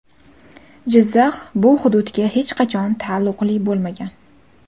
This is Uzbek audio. Jizzax bu hududga hech qachon taalluqli bo‘lmagan.